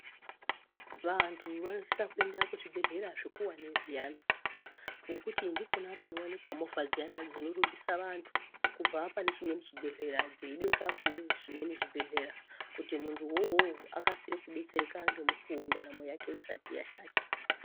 Vantu vanosisa kuenda kuzvibhedhlera zvikuwani zviyani nekuti ndikona kunowanikwa movhadziyani dzinorumbisa vantu kubva panechimwe chibhedhlera dzeibeka pane zvimwe zvibhedhlera luti muntu wouwowo akasire kudetsereka nemukuwo ndaramo yake isati yashata.